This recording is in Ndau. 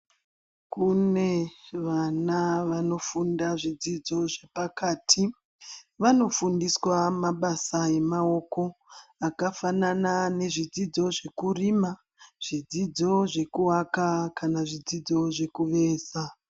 Kune vana vanofunda zvidzidz zvepakati vanofundiswa mabasa emaoko akafanana nezvidzidzo zvekurima, zvidzidzo zvekuaka kana zvidzidzo zvekuveza.